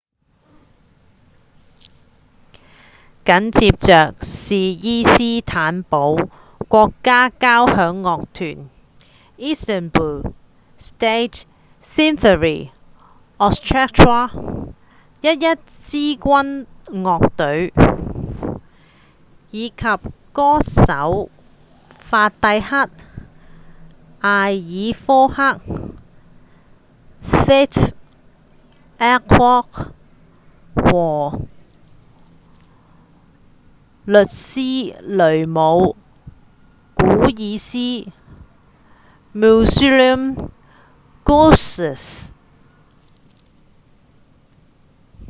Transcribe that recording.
緊接著是伊斯坦堡國家交響樂團 istanbul state symphony orchestra —一支軍樂隊以及歌手法蒂赫·埃爾科克 fatih erkoç 和穆斯呂姆·古爾斯 müslüm gürses